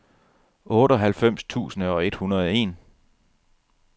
otteoghalvfems tusind et hundrede og en